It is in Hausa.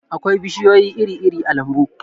akwai bishiyoyi iri-iri a lambu